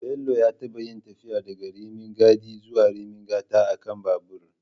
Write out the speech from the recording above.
Bello ya taɓa yin tafiya daga Rimin Gadi zuwa Rimin Gata a kan babur